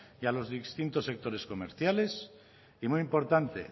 y a los distintos sectores comerciales y muy importante